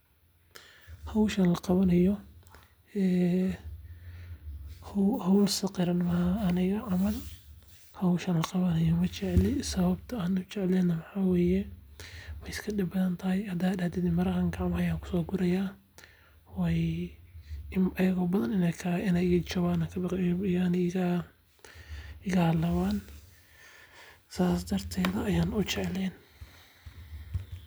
Howshan laqabano ee howl saqiran ma aha aniga camal howshan laqabanayo majecli sababta an ujecleyn na waxa weye way iska dhib badan tahay hada ad dhahdid mara camal ayan kuso guraya way ayago badan inay iga jaban ayan kabaqi yaani iga halaawan sas darteeda ayan ujecleen